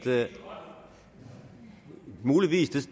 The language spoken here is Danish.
værre